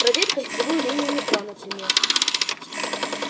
проверь кольцевую линию метро например